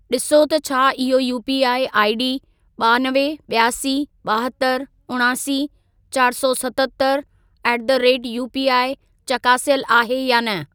ॾिसो त छा इहो यूपीआईआईडी ॿानवे, ॿियासी, ॿाहतरि, उणासी, चारि सौ सतहतरि ऍट द रेट यूपीआई चकासियल आहे या न।